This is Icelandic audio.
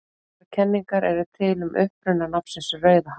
Nokkrar kenningar eru til um uppruna nafnsins Rauðahaf.